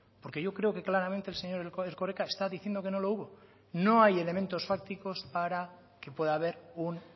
porque yo creo que claramente el señor erkoreka está diciendo que no lo hubo no hay elementos fácticos para que pueda haber un